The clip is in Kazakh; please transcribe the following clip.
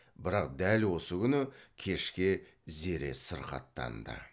бірақ дәл осы күні кешке зере сырқаттанды